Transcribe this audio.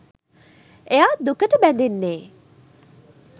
එයා දුකට බැඳෙන්නෙ